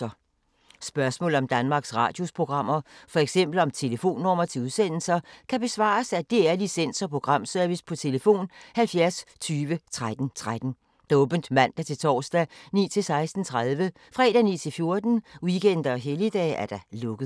Spørgsmål om Danmarks Radios programmer, f.eks. om telefonnumre til udsendelser, kan besvares af DR Licens- og Programservice: tlf. 70 20 13 13, åbent mandag-torsdag 9.00-16.30, fredag 9.00-14.00, weekender og helligdage: lukket.